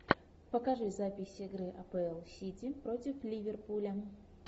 покажи запись игры апл сити против ливерпуля